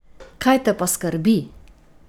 Kaj te pa skrbi?